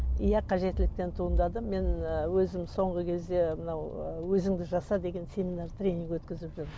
иә қажеттіліктен туындады мен ы өзім соңғы кезде мынау өзіңді жаса деген семинар тренинг өткізіп жүрмін